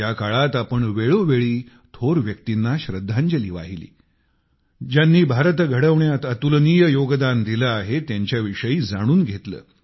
या काळात आपण वेळोवेळी थोर व्यक्तींना श्रद्धांजली वाहिली ज्यांनी भारत घडविण्यात अतुलनीय योगदान दिले आहे त्यांच्याविषयी जाणून घेतले